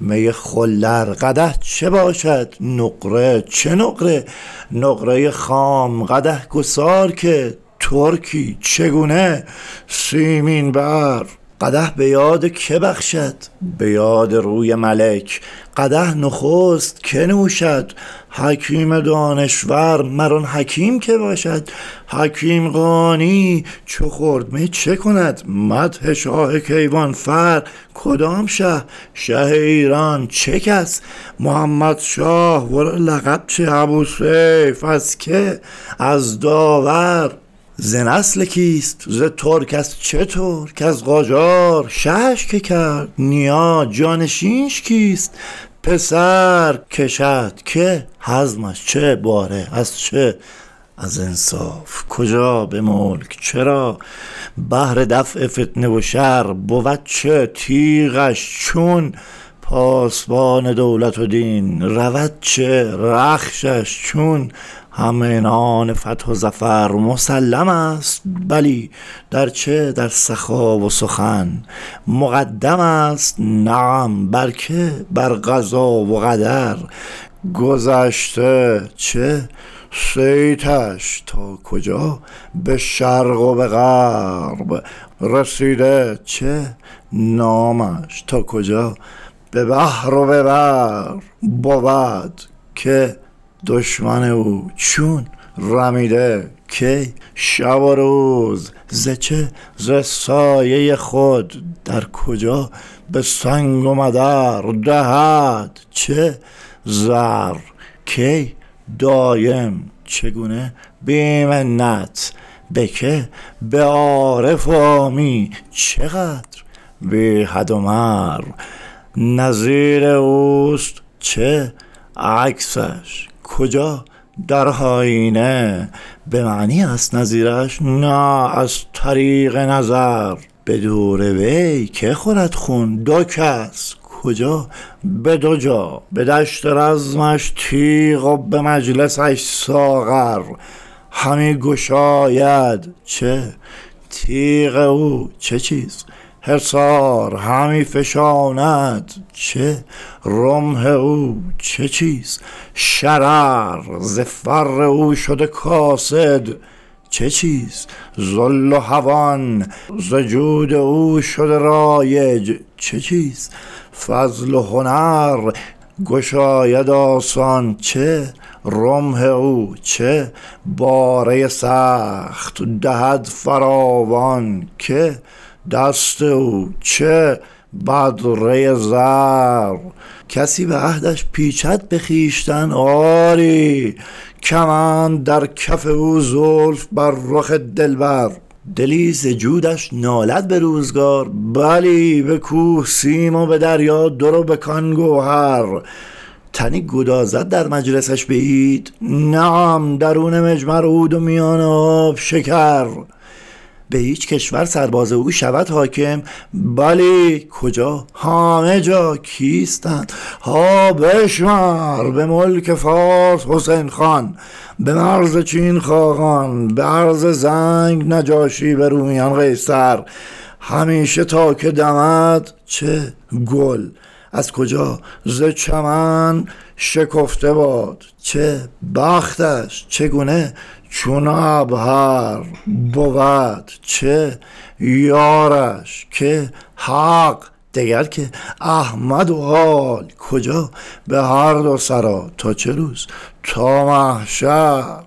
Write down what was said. می خلر قدح چه باشد نقره چه نقره نقره خام قدح گسار که ترکی چگونه سیمین بر قدح به یاد که بخشد به یاد روی ملک قدح نخست که نوشد حکیم دانشور مرآن حکیم که باشد حکیم قاآنی چو خورد می چکند مدح شاه کیوان فر کدام شه شه ایران چه کس محمدشاه ورا لقب چه ابوالسیف از که از داور ز نسل کیست ز ترک از چه ترک از قاجار شهش که کرد نیا جانشینش کیست پسر کشد که حزمش چه باره از چه از انصاف کجا به ملک چرا بهر دفع فتنه و شر بود چه تیغش چون پاسبان دولت و دین رود چه رخشش چون همعنان فتح و ظفر مسلمست بلی در چه در سخا و سخن مقدم است نعم بر که بر قضا و قدر گذشته چه صیتش تا کجا به شرق و غرب رسیده چه نامش تا کجا به بحر و به بر بود که دشمن او چون رمیده کی شب و روز ز چه ز سایه خود در کجا به سنگ و مدر دهد چه زر کی دایم چگونه بی منت به که به عارف و عامی چه قدر بی حد و مر نظیر اوست چه عکسش کجا در آیینه به معنی است نظیرش نه از طریق نظر به دور وی که خورد خون دو کس کجا به دو جا به دشت رزمش تیغ و به مجلسش ساغر همی گشاید چه تیغ او چه چیز حصار همی فشاند چه رمح او چه چیز شرر ز فر او شده کاسد چه چیز ذل و هوان ز جود شده رایج چه چیز فضل و هنر گشاید آسان چه رمح او چه باره سخت دهد فراوان چه دست او چه بدره زر کسی به عهدش پیچد به خویشتن آری کمند در کف او زلف بر رخ دلبر دلی ز جودش نالد به روزگار بلی به کوه سیم و به دریا در و به کان گوهر تنی گدازد در مجلسش به عید نعم درون مجمر عود و میان آب شکر به هیچ کشور سرباز او شود حاکم بلی کجا همه جا کیستند ها بشمر به ملک فارس حسین خان به مرز چین خاقان به ارض زنگ نجاشی به رومیان قیصر همیشه تا که دمد چه گل از کجا ز چمن شکفته باد چه بختش چگونه چون عبهر بود چه یارش که حق دگر که احمد و آل کجا به هر دو سرا تا چه روز تا محشر